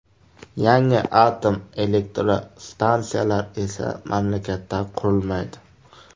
Yangi atom elektrostansiyalar esa mamlakatda qurilmaydi.